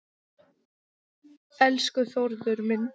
Elsku Þórður minn.